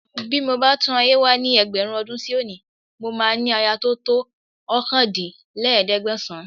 Bí mo bá tún ayé wá ní ẹgbẹ̀rún ọdún sí òní, mo máa ní aya tó to ọkàndínlẹ́ẹ̀ẹ́dẹ́gbẹ̀sàn-án